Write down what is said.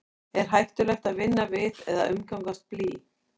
er hættulegt að vinna við eða umgangast blý